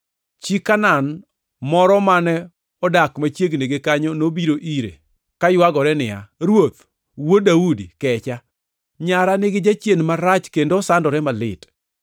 Chi Kanaan moro mane odak machiegni gi kanyo nobiro ire kaywagore niya, “Ruoth, Wuod Daudi, kecha! Nyara nigi jachien marach kendo osandore malit.”